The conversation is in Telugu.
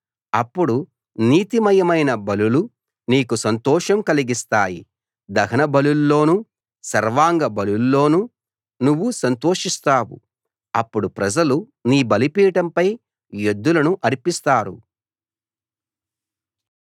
అప్పుడు నీతిమయమైన బలులు నీకు సంతోషం కలిగిస్తాయి దహనబలుల్లోనూ సర్వాంగ బలుల్లోనూ నువ్వు సంతోషిస్తావు అప్పుడు ప్రజలు నీ బలిపీఠంపై ఎద్దులను అర్పిస్తారు